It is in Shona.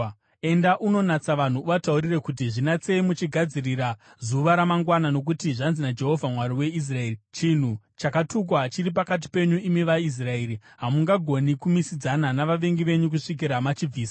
“Enda unonatsa vanhu. Uvataurire kuti, ‘Zvinatsei muchigadzirira zuva ramangwana; nokuti zvanzi naJehovha, Mwari waIsraeri: Chinhu chakatukwa chiri pakati penyu, imi vaIsraeri. Hamungagoni kumisidzana navavengi venyu kusvikira machibvisa.